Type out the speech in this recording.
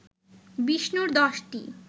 বিষ্ণুর দশটি